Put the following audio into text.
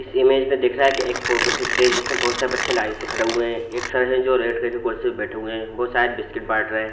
इस इमेज मे दिख रहा है कि एक फोटो खींच रहे है जिसमे बहोत सारे बच्चे लाइन से खड़े हुए है एक साथ जो रेड कलर के कुर्सी पर बैठे है वो शायद बिस्किट बाँट रहे है।